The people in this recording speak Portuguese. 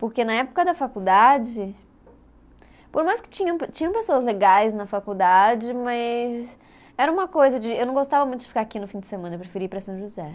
Porque na época da faculdade, por mais que tinham, tinham pessoas legais na faculdade, mas era uma coisa de. Eu não gostava muito de ficar aqui no fim de semana, eu preferia ir para São José.